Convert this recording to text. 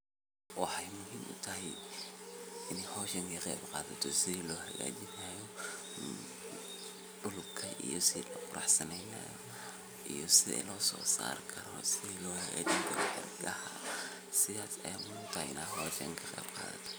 Waxey muhiim utahay ini howsha kaqeyb qadhato sidhi loo xagaajinayo dulka iyo si loquruxsaneynayo iyo sii loo sosarkaro iyo sidhi loo hagaajin karo xirgaha sidha eye muhiim utahay in howshan kaqeyb qadhato.